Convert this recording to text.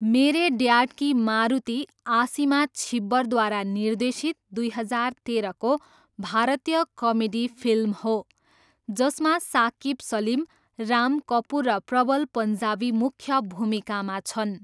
मेरे ड्याड की मारुती आसिमा छिब्बरद्वारा निर्देशित दुई हजार तेह्रको भारतीय कमेडी फिल्म हो, जसमा साकिब सलिम, राम कपुर र प्रबल पन्जाबी मुख्य भूमिकामा छन्।